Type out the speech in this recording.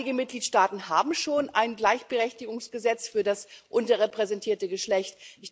Einige Mitgliedstaaten haben schon ein Gleichberechtigungsgesetz für das unterrepräsentierte Geschlecht.